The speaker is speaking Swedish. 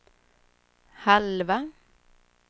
halva